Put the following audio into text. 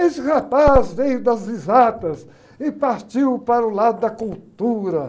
Esse rapaz veio das risadas e partiu para o lado da cultura.